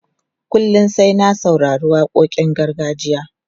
Kullum sai na saurari waƙoƙin gargajiya.